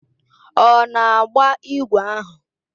Ọ na-agba ígwè ahụ?